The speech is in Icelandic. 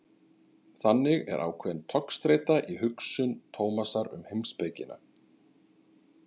Þannig er ákveðin togstreita í hugsun Tómasar um heimspekina.